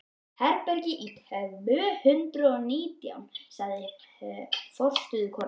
Hún er í herbergi tvö hundruð og nítján, sagði forstöðukonan.